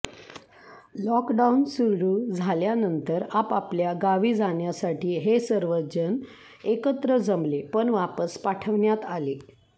lockdown सुरू झाल्यानंतर आपाआपल्या गावी जाण्यासाठी हे सर्वजण एकत्र जमले पण वापस पाठवण्यात आले